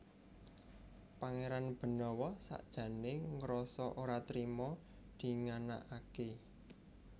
Pangéran Benawa sakjané ngrasa ora trima dinganakaké